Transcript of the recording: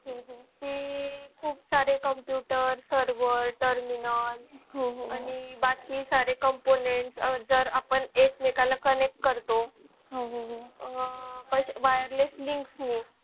ते खूप सारे computer server terminal आणि बाकी सारे components जर आपण एकमेका ला connect करतो आह wireless link नी